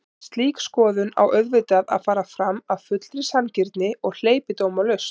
En slík skoðun á auðvitað að fara fram af fullri sanngirni og hleypidómalaust.